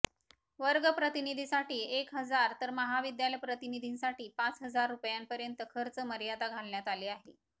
वर्ग प्रतिनिधीसाठी एक हजार तर महाविद्यालय प्रतिनिधींसाठी पाच हजार रुपयांपर्यंत खर्च मर्यादा घालण्यात आली आहे